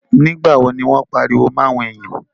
Nígbà wo ní wọ́n pariwo mọ́ àwọn èyàn?